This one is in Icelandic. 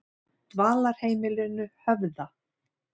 Dvalarheimilinu Höfða